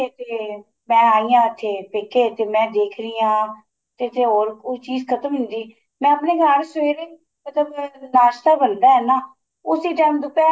ਮੈਂ ਆਈ ਆ ਉੱਥੇ ਪੇਕੇ ਤੇ ਮੈਂ ਦੇਖ ਰਹੀ ਆ ਤੇ ਇੱਥੇ ਹੋਰ ਕੋਈ ਚੀਜ਼ ਖਤਮ ਹੁੰਦੀ ਮੈਂ ਘਰ ਸਵੇਰੇ ਮਤਲਬ ਨਾਸ਼ਤਾ ਬਣਦਾ ਏ ਨਾ ਉਸੀ time ਦੁਪਹਿਰ